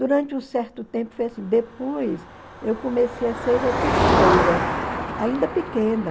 Durante um certo tempo foi assim, depois eu comecei a ser repetidora, ainda pequena.